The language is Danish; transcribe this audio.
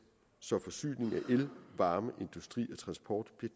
så forsyningen af el varme industri og transport